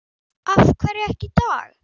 Af hverju ekki í dag?